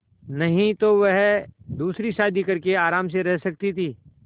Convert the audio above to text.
नहीं तो वह दूसरी शादी करके आराम से रह सकती थ